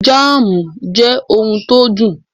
Jámùù jê ohun tó dùn.